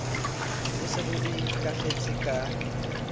bo se bo ikakgetse ka